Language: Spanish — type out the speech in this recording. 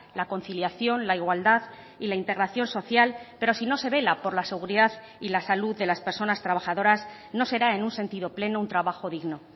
la conciliación la igualdad y la integración social pero si no se vela por la seguridad y la salud de las personas trabajadoras no será en un sentido pleno un trabajo digno